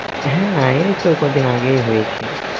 হ্যাঁ এইতো কদিন আগেই হয়েছে